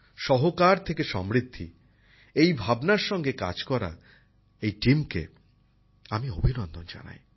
সহকার থেকে সমৃদ্ধি এই ভাবনার সঙ্গে কাজ করা এই দলটিকে আমি অভিনন্দন জানাই